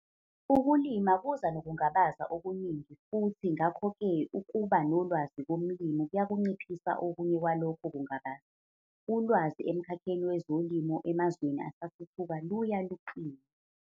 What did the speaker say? Ukulima kuza nokungabaza okuningi futhi ngakho ke ukuba nolwazi komlimi kuyakunciphisa okunye kwalokho kungabaza. Ulwazi emkhakheni wezolimo emazweni asathuthuka luya luqina.